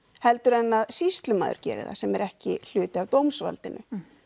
heldur en að sýslumaður geri það sem er ekki hluti af dómsvaldinu